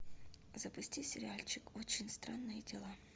запусти сериальчик очень странные дела